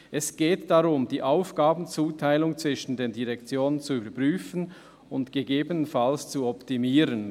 Es geht darum, die Aufgabenzuteilung zwischen den Direktionen zu überprüfen und gegebenenfalls zu optimieren.